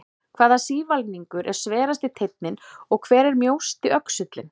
Hvaða sívalningur er sverasti teinninn og hver er mjósti öxullinn?